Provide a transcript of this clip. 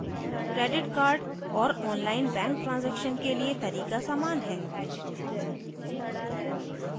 credit cards और online bank transaction के लिए तरीका सामान है